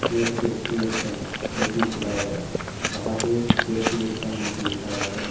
ये एक KFC restaurant है जो कि खुला हुआ है वहां पर के_एफ_सी रेस्टोरेंट बोल के लिखा गया है।